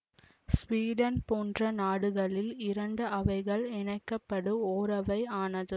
Sweden போன்ற நாடுகளில் இரண்டு அவைகள் இணைக்கப்படு ஓரவை ஆனது